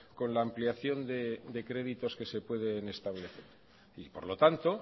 con la ampliación de créditos que se pueden establecer y por lo tanto